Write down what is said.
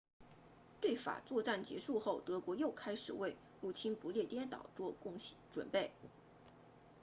对法作战结束后德国又开始为入侵不列颠岛做准备